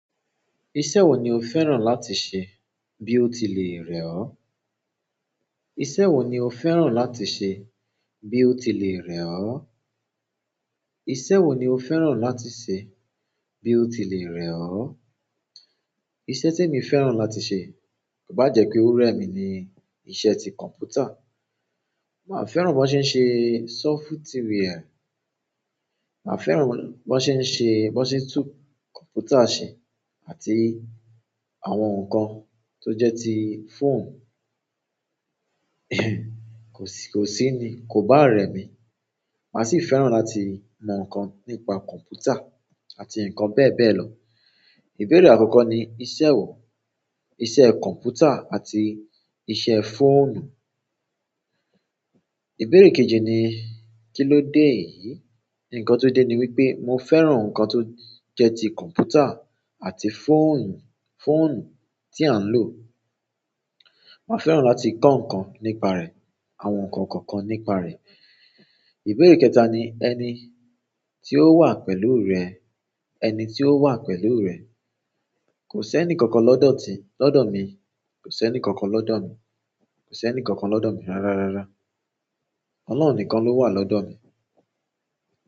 Iṣẹ́ wo ni o fẹ́ràn láti ṣe bí o tilẹ̀ rẹ̀ ọ́? Iṣẹ́ wo ni o fẹ́ràn láti ṣe bí o tilẹ̀ rẹ̀ ọ́? Iṣẹ́ wo ni o fẹ́ràn láti ṣe bí o tilẹ̀ rẹ̀ ọ́? Iṣẹ́ tí mo fẹ́ràn láti ṣe ko bá jẹ́ pé ó rẹ mi ni iṣẹ́ ti kọ̀npútà. Màá fẹ́ràn bó ṣe ń ṣe software, màá fẹ́ràn bó ṣe ń ṣe, bó ṣe ń tú kọ̀npútà ṣe àti àwọn nǹkan tó jẹ́ ti fóònù. Ko si ni, ko ba re mi. Màá sì fẹ́ràn láti mọ nǹkan nípa kọ̀mpútà àti nǹkan bẹ́ẹ̀ bẹ́ẹ̀ lọ. Ìbéèrè àkọ́kọ́ ni iṣẹ́ wo, iṣẹ́ kọ̀mpútà àti iṣẹ́ fóònù. Ìbéèrè kejì ni kílóde eyìí. Ǹkan tó dé ni wípé mo fẹ́ràn nǹkan tó jẹ́ ti kọ̀mpútà àti fóònù, fóònù tí à ń lò. Màá fẹ́ràn láti kọ́ nǹkan nípa rẹ̀, àwọn nǹkan kọ̀ọ̀kan nípa rẹ̀. Ìbéèrè kẹta ni ẹni tí ó wà pẹ̀lú rẹ, ẹni tí ó wà pẹ̀lú rẹ. Kò sí ẹni kankan lọ́dọ̀ ti, lọ́dọ̀ mi. Kò sí ẹni kankan lọ́dọ̀ mi. Kò sí ẹni kankan lọ́dọ̀ mi rárá rárá. Ọlọ́run nìkan ló wà lọ́dọ̀ mi.